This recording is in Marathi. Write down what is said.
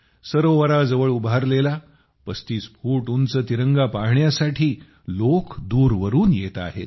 सरोवराजवळ उभारलेला 35 फूट उंच तिरंगा पाहण्यासाठी लोक दूरवरून येत आहेत